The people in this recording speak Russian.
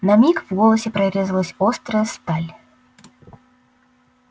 на миг в голосе прорезалась острая сталь